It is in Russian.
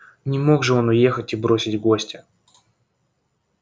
не мог же он уехать и бросить гостя